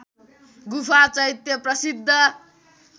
गुफा चैत्य प्रसिद्ध